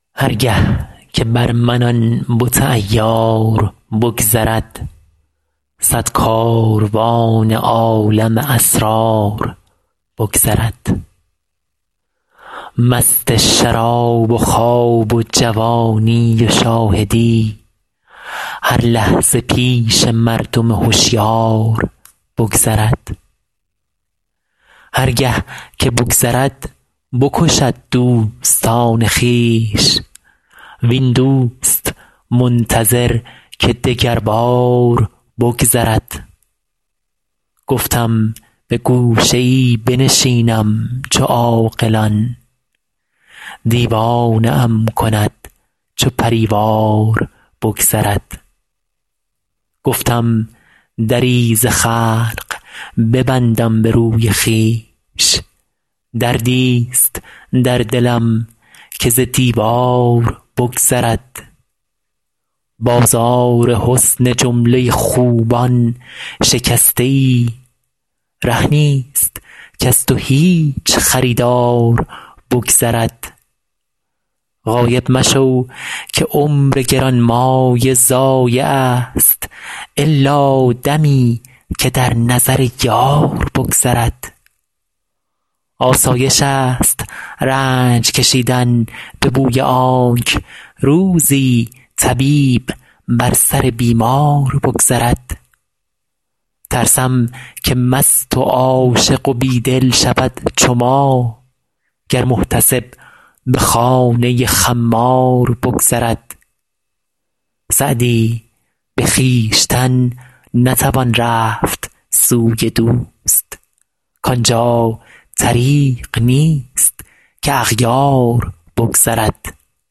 هر گه که بر من آن بت عیار بگذرد صد کاروان عالم اسرار بگذرد مست شراب و خواب و جوانی و شاهدی هر لحظه پیش مردم هشیار بگذرد هر گه که بگذرد بکشد دوستان خویش وین دوست منتظر که دگربار بگذرد گفتم به گوشه ای بنشینم چو عاقلان دیوانه ام کند چو پری وار بگذرد گفتم دری ز خلق ببندم به روی خویش دردیست در دلم که ز دیوار بگذرد بازار حسن جمله خوبان شکسته ای ره نیست کز تو هیچ خریدار بگذرد غایب مشو که عمر گرانمایه ضایعست الا دمی که در نظر یار بگذرد آسایشست رنج کشیدن به بوی آنک روزی طبیب بر سر بیمار بگذرد ترسم که مست و عاشق و بی دل شود چو ما گر محتسب به خانه خمار بگذرد سعدی به خویشتن نتوان رفت سوی دوست کان جا طریق نیست که اغیار بگذرد